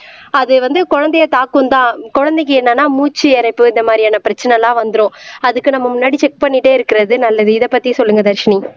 அது வந்து குழந்தையை தாக்கும்தான் குழந்தைக்கு என்னன்னா மூச்சு இரைப்பு இந்த மாதிரியான பிரச்சனைலாம் வந்துரும் அதுக்கு நம்ம முன்னாடி செக் பண்ணிட்டே இருக்குறது நல்லது இதை பத்தி சொல்லுங்க தர்ஷினி